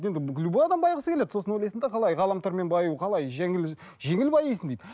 енді любой адам байығысы келеді сосын олайсың да қалай ғаламтормен баю қалай жеңіл жеңіл баисың дейді